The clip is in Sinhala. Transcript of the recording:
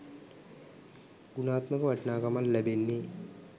ගුණාත්මක වටිනාකම ලැබෙන්නේ.